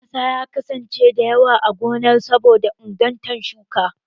Ƙasa ya kasance da yawa a gonar saboda ingarta shuki.